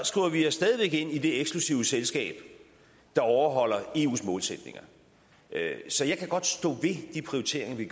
skriver vi os stadig væk ind i det eksklusive selskab der overholder eus målsætninger så jeg kan godt stå ved de prioriteringer vi